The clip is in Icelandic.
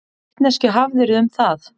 Hvaða vitneskju hafðirðu um það?